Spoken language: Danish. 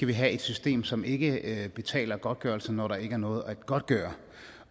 vi have et system som ikke betaler godtgørelse når der ikke er noget at godtgøre